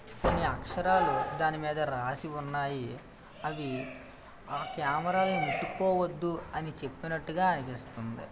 కొన్ని అక్షరాలు దాని మీద రాసి ఉన్నాయి. అవి ఆ కెమేరా లను ముట్టుకోవద్దు అని చెప్పినట్టుగా అనిపిస్తుంది.